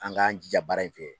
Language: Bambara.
An k'an jija baara in fɛ.